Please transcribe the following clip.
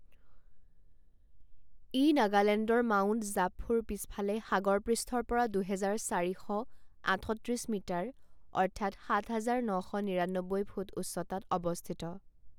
ই নাগালেণ্ডৰ মাউণ্ট জাপফুৰ পিছফালে সাগৰ পৃষ্ঠৰ পৰা দুহেজাৰ চাৰি শ আঠত্ৰিছ মিটাৰ অৰ্থাৎ সাত হাজাৰ ন শ নিৰান্নব্বৈ ফুট উচ্চতাত অৱস্থিত।